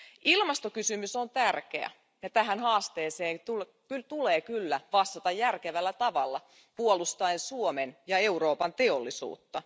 Ilmastokysymys on tärkeä, ja tähän haasteeseen tulee kyllä vastata järkevällä tavalla puolustaen Suomen ja Euroopan teollisuutta.